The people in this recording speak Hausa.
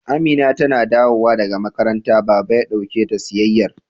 Amina tana dawowa daga makaranta, Baba ya dauke ta siyayyar.